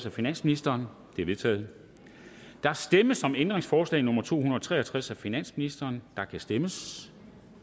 af finansministeren de er vedtaget der stemmes om ændringsforslag nummer to hundrede og tre og tres af finansministeren og der kan stemmes